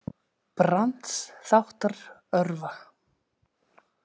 Brands þáttr örva.